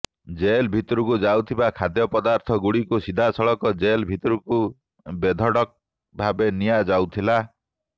jail ଭିତରକୁ ଯାଉଥିବା ଖାଦ୍ୟ ପଦାର୍ଥ ଗୁଡିକୁ ସିଧାସଳଖ ଜେଲ ଭିତରକୁ ବେଧଡକ ଭାବେ ନିଆ ଯାଉଥିଲା